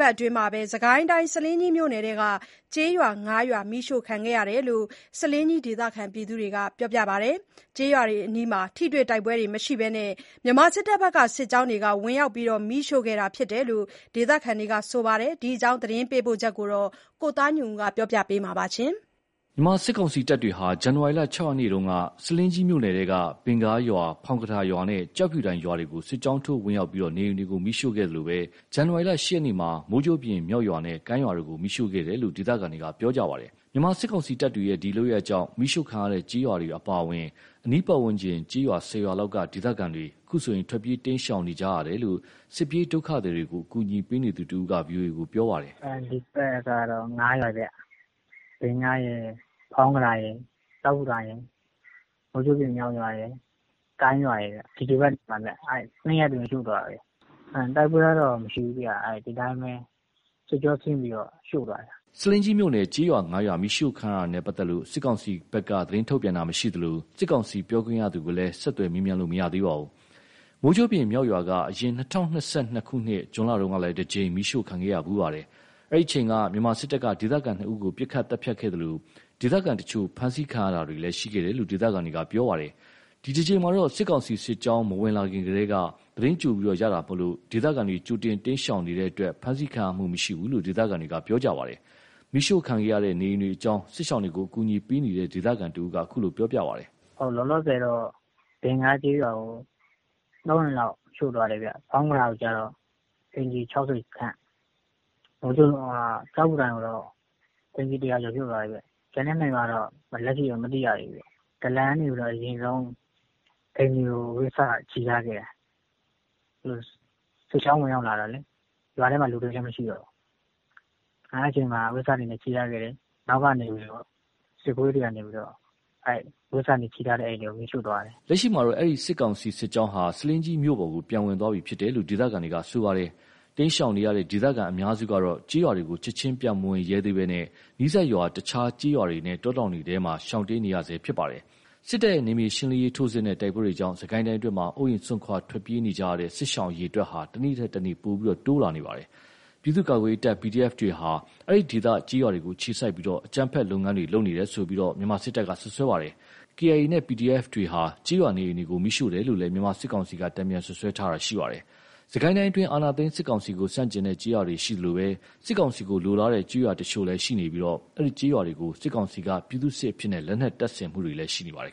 ပတ်အတွင်းမှာ စစ်ကိုင်းတိုင်း ဆားလင်းကြီးမြို့နယ်အတွင်းက ကျေးရွာ ၅ ရွာ ပတ်အတွင်း မီးရှို့ခံခဲ့ရတယ်လို့ ဆားလင်းကြီး ဒေသခံတွေက ပြောပါတယ်။ ကျေးရွာတွေအနီး ထိတွေ့တိုက်ပွဲတွေမရှိဘဲ မြန်မာစစ်တပ်ရဲ့ စစ်ကြောင်းတွေက ဝင်ရောက်ပြီး မီးရှို့ခဲ့တာ ဖြစ်တယ်လို့ ဒေသခံတွေက ဆိုပါတယ်။ ဒီအကြောင်း သတင်းပေးပို့ချက်ကို ကိုသားညွန့်ဦး ပြောပြမှာပါ။ မြန်မာစစ်ကောင်စီတပ်တွေဟာ ဇန်နဝါရီ ၆ ရက်နေ့က ဆားလင်းကြီးမြို့နယ်ထဲက ဘင်ဂါးရွာ၊ ဖောင်းကထာရွာနဲ့ ကျောက်ဖြူတိုင်ရွာတွေကို စစ်ကြောင်းထိုး ဝင်ရောက်ပြီး နေအိမ်တွေကို မီးရှို့ခဲ့သလို၊ ဇန်နဝါရီလ ၈ ရက်နေ့မှာ မိုးကြိုးပြင်(မြောက်)ရွာ နဲ့ ကိုင်းရွာတို့ကို မီးရှို့ခဲ့တယ်လို့ ဒေသခံတွေက ပြောပါတယ်။ မြန်မာစစ်ကောင်စီတပ်တွေရဲ့ ဒီလုပ်ရပ်ကြောင့် မီးရှို့ခံရတဲ့ကျေးရွာတွေအပါအဝင် အနီးပတ်ဝန်းကျင်ကျေးရွာ ၁၀ ရွာလောက်က ဒေသခံတွေ အခုဆို ထွက်ပြေးတိမ်းရှောင်နေကြရတယ်လို့ စစ်ပြေးဒုက္ခသည်တွေကို အကူအညီပေးနေသူတဦးက VOA ကို ပြောပါတယ်။ "ဒီတပတ်ကတော့ ၅ ရွာဗျ။ ဘင်ဂါးရယ်၊ ဖောင်းကထာရယ်၊ ကျောက်ဖြူတိုင်ရယ်၊ မိုးကြိုးပြင်(မြောက်)ရွာရယ် ကိုင်းရွာရယ်ဗျ။ အဲ့ဒါက ၂ ရက်အတွင်းရှို့သွားတာဗျ။ တိုက်ပွဲကတော့ မရှိဘူးဗျ ဒီတိုင်းပဲ စစ်ကြောင်းထိုးပြီး ရှို့သွားတာ။" ဆားလင်းကြီးမြို့နယ် ကျေးရွာငါးရွာမီးရှို့ခံရတာနဲ့ပတ်သက်လို့ စစ်ကောင်စီကတော့ သတင်းထုတ်ပြန်တာမရှိသလို၊ စစ်ကောင်စီပြောခွင့်ရသူကိုလည်း ဆက်သွယ်မေးမြန်းလို့မရသေးပါဘူး။ မိုးကြိုးပြင်မြောက်ရွာက အရင် ၂၀၂၂ ခုနှစ် ဇွန်လတုန်းကလဲ တကြိမ်မီးရှို့ခံခဲ့ရဖူးပါတယ်။ အဲ့ဒီအချိန်က မြန်မာစစ်တပ်က ဒေသခံ ၂ ဦးကို ပစ်ခတ်သတ်ဖြတ်ခဲ့သလို၊ ဒေသခံတချို့ ဖမ်းဆီးခံရတာလည်း ရှိခဲ့တယ်လို့ ဒေသခံတွေက ပြောပါတယ်။ ဒီတခေါက်မှာတော့ စစ်ကောင်စီစစ်ကြောင်း မဝင်လာခင်ကတည်းက သတင်းကြိုရတာကြောင့်၊ ဒေသခံတွေ ကြိုတင် တိမ်းရှောင်နေတဲ့အတွက် ဖမ်းဆီးခံရမှု မရှိဘူးလို့ ဒေသခံတွေက ပြောပါတယ်။ မီးရှို့ခံရတဲ့ နေအိမ်တွေအကြောင်းကို စစ်ရှောင်တွေကို ကူညီပေးနေတဲ့ ဒေသခံတဦးက ခုလိုပြောပြပါတယ်။ "လောလောဆယ်က ဘင်ဂါးကျေးရွာကို ၃ အိမ်လောက်ရှို့သွားတယ်ဗျ။ ဖောင်းကထာကိုကျတော့ အိမ်ခြေ ၆၀ ခန့်၊ ကျောက်ဖြူတိုင်ကိုကျတော့ အိမ်ခြေ ၁၀၀ ကျော် ရှို့သွားတယ်ဗျ။ ကျန်တဲ့ ၂ ရွာကတော့ လက်ရှိတော့ မသိရသေးဘူး။ ဒလန်က အရင်ဆုံး အိမ်တွေကို အဝတ်စနီ ချည်ထားခဲ့တာ။ စစ်ကြောင်းဝင်လာတာနဲ့ ရွာထဲမှာ လူတွေလည်း မရှိတော့ ဒလန်က အဝတ်စနီချည်ထားခဲ့တော့ စစ်သားတွေက နောက်ကနေပြီးတော့ အဲ့ အဝတ်စနီချည်ထားတဲ့ အိမ်တွေကို မီးရှို့သွားတယ်။" လက်ရှိမှာတော့ အဲ့ဒီ စစ်ကောင်စီစစ်ကြောင်းဟာ ဆားလင်းကြီးမြို့ပေါ် ပြန်ဝင်သွားပြီးဖြစ်တယ်လို့ ဒေသခံတွေက ဆိုပါတယ်။ တိမ်းရှောင်နေရတဲ့ ဒေသခံအများစုကတော့ ကျေးရွာတွေကို ချက်ချင်း ပြန်မဝင်ရဲကြသေးဘဲ နီးစပ်ရွာ တခြားကျေးရွာတွေနဲ့ တောထဲတွေမှာ ရှောင်တိမ်းနေကြရဆဲဖြစ်ပါတယ်။ စစ်တပ်ရဲ့ နယ်မြေရှင်းလင်းရေး ထိုးစစ်နဲ့ တိုက်ပွဲတွေကြောင့် စစ်ကိုင်းအတွင်းမှာ အိုးအိမ် စွန့်ခွာ ထွက်ပြေးနေကြရတဲ့ စစ်ရှောင် အရေ အတွက်တွေက တနေ့ထက်တနေ့ ပိုပြီးတိုးလာနေပါတယ်။ ပြည်သူ့ ကာကွယ်ရေးတပ် PDF တွေဟာ ဒီဒေသ ကျေးရွာတွေကို အခြေစိုက်ပြီး အကြမ်းဖက် လုပ်ငန်းတွေ လုပ်နေတယ်ဆိုပြီးတော့လည်း မြန်မာစစ်တပ်က စွပ်စွဲပါတယ်။ KIA နဲ့ PDF တွေဟာ ကျေးရွာနေအိမ်တွေကို မီးရှို့တယ်လို့လည်း မြန်မာစစ်ကောင်စီက တန်ပြန်စွပ်စွဲတာရှိပါတယ်။ စစ်ကိုင်းတိုင်းအတွင်း အာဏာသိမ်းစစ်ကောင်စီကို ဆန့်ကျင်တဲ့ကျေးရွာတွေရှိသလို၊ စစ်ကောင်စီကိုလိုလားတဲ့ ကျေးရွာတချို့လည်းရှိနေပြီး အဲဒီကျေးရွာတွေကို စစ်ကောင်စီက ပြည်သူ့စစ်အဖြစ် လက်နက်တပ်ဆင်ပေးတာတွေလည်းရှိခဲ့ပါတယ်